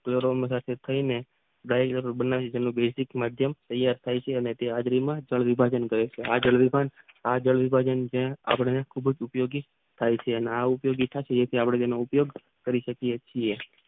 વેરોલ થાયને ગાઈલ બનાવી તેનું બેઝિક માધ્યમ તૈયાર થઈ છે અને હાજરી માં કળ વિભાજન કરે છે આ જળ આપણને ખુબ જ ઉપયોગી થાય છે અને આ અને આપણે તેનો ઉપયોગ કરી શકીયે છીએ